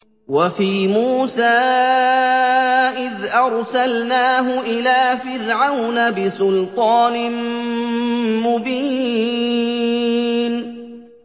وَفِي مُوسَىٰ إِذْ أَرْسَلْنَاهُ إِلَىٰ فِرْعَوْنَ بِسُلْطَانٍ مُّبِينٍ